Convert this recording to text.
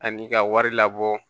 Ani ka wari labɔ